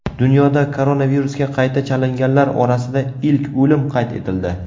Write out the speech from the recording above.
Dunyoda koronavirusga qayta chalinganlar orasida ilk o‘lim qayd etildi.